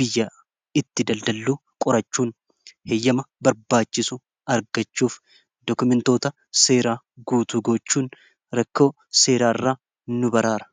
biyya itti daldalluu qorachuun heyyama barbaachisu argachuuf dookumentoota seeraa guutuu gochuun rakkoo seeraa irra nu baraara